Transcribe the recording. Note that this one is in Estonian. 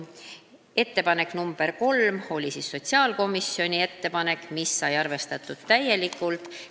Ettepanek nr 3 oli sotsiaalkomisjonilt ja seda arvestati täielikult.